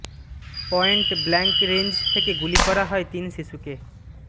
point blank range থেকে গুলি করা হয় তিন শিশুকে